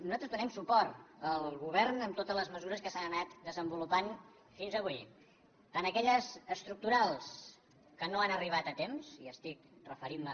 nosaltres donem suport al govern en totes les mesures que s’han anat desenvolupant fins avui tant aquelles estructurals que no han arribat a temps i estic referintme